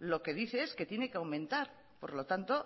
lo que dice es que tiene que aumentar por lo tanto